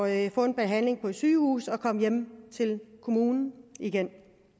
at få en behandling på et sygehus og så kom hjem til kommunen igen